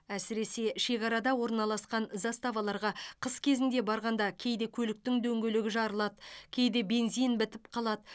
әсіресе шекарада орналасқан заставаларға қыс кезінде барғанда кейде көліктің дөңгелегі жарылады кейде бензин бітіп қалады